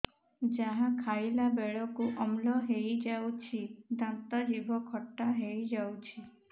ଯାହା ଖାଇଲା ବେଳକୁ ଅମ୍ଳ ହେଇଯାଉଛି ଦାନ୍ତ ଜିଭ ଖଟା ହେଇଯାଉଛି